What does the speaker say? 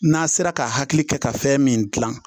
N'a sera ka hakili kɛ ka fɛn min gilan